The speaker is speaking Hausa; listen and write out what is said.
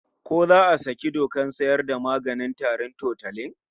Ko za a saki dokar sayar da maganin tarin Tutolin?